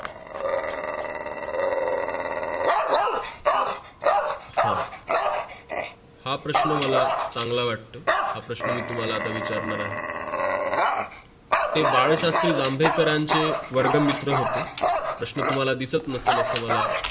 हा हा प्रश्न मला चांगला वाटतो हा प्रसाधन मी तुम्हाला विचारणार आहे हे बालशास्त्रीं जांबेकारांचे वर्ग मित्र होते प्रसह तुम्हाला दिसत नसेल असं मला